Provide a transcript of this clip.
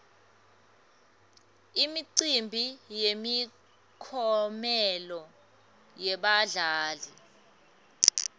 imicimbi yemiklomelo yebadlali